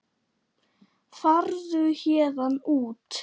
Farðu héðan út.